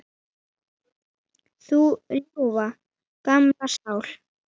Þú ljúfa, gamla sál.